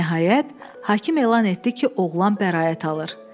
Nəhayət, hakim elan etdi ki, oğlan bəraət alır.